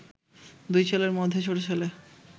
দুই ছেলের মধ্যে ছোট ছেলে